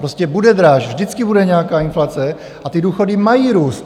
Prostě bude dráž, vždycky bude nějaká inflace, a ty důchody mají růst.